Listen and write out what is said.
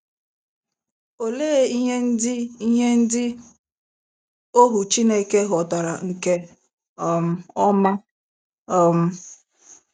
Olee ihe ndị ihe ndị ohu Chineke ghọtara nke um ọma um?